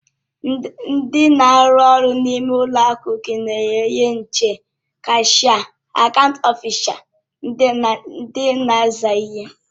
Ndị na-arụ ọrụ n'ime ụlọakụ gụnyere onye nche, kashịa, akaant ọfisa, ndị na-aza ihe dgz